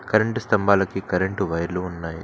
Current స్థంభాలకి current వైర్లు ఉన్నాయి.